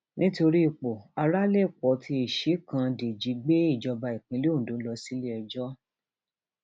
nítorí ipò um arálèpọ tí ìṣìkan dèjì gbé ìjọba ìpínlẹ ondo lọ um sílẹẹjọ